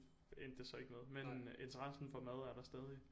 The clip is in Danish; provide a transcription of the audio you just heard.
Endte det så ikke med men interessen for mad er der stadig